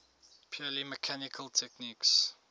purely mechanical techniques